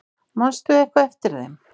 Manst þú eitthvað eftir þeim?